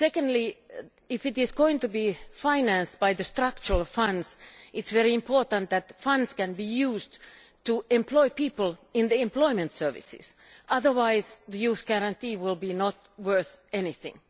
Next, if it is going to be financed by the Structural Funds it is very important that these funds can be used to employ people in the employment services, otherwise the youth guarantee will not be worth anything.